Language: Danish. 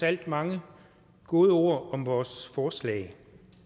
alt mange gode ord om vores forslag